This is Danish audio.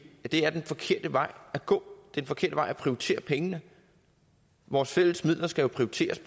at det er den forkerte vej at gå det forkerte vej at prioritere pengene vores fælles midler skal jo prioriteres